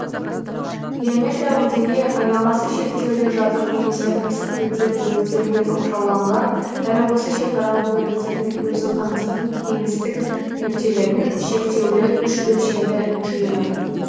геометриялық дене айналасы шектеулі жазық немесе қисық беттер бөліктерімен оқшауланған әрі осы шекаралық бөліктердің өзін қамтитын кеңістік нүктелердің шектеулі үш өлшемді жиыны